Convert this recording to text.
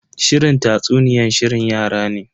Shirin tatsuniyan shirin yara ne.